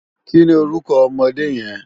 Kini órúkò òmòdé yèn?